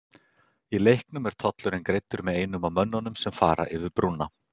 Í leiknum er tollurinn greiddur með einum af mönnunum sem fara yfir brúna.